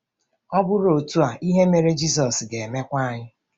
Ọ bụrụ otu a, ihe mere Jizọs ga-emekwa anyị.